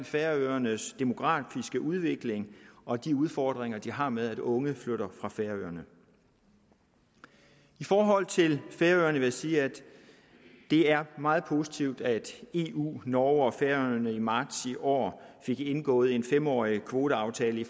færøernes demografiske udvikling og de udfordringer de har med at unge flytter fra færøerne i forhold til færøerne vil jeg sige at det er meget positivt at eu norge og færøerne i marts i år fik indgået en fem årig kvoteaftale